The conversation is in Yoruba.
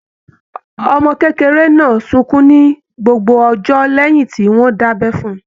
Ọmọ kékeré náà sunkún ní gbogbo ọjọ́ lẹ́hìn tí wọ́n dábẹ́ fún - un.